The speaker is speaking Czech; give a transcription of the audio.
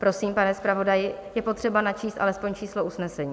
Prosím, pane zpravodaji, je potřeba načíst alespoň číslo usnesení.